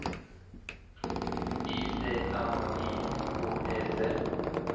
Y D M Y K E T